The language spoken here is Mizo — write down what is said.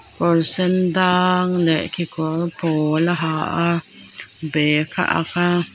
kawr sendang leh kekawr pawl a ha a bag a ak a.